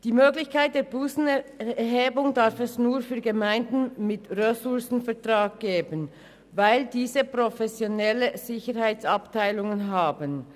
Die Möglichkeit der Bussenerhebung darf es nur für Gemeinden mit Ressourcenvertrag geben, weil diese professionelle Sicherheitsabteilungen haben.